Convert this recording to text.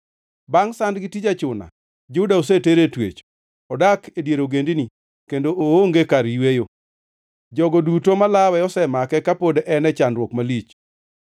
Bangʼ sand gi tij achuna, Juda oseter e twech. Odak e dier ogendini kendo oonge kar yweyo. Jogo duto malawe osemake kapod en e chandruok malich.